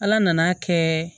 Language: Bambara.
Ala nana'a kɛ